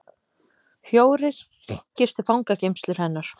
Fjórir gistu fangageymslur hennar